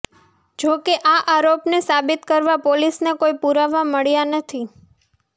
જો કે આ આરોપને સાબિત કરવા પોલીસને કોઈ પુરાવા મળ્યા નથી